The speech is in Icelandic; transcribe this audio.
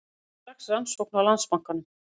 Hefja strax rannsókn á Landsbankanum